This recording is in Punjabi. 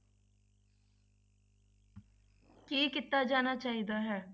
ਕੀ ਕੀਤਾ ਜਾਣਾ ਚਾਹੀਦਾ ਹੈ?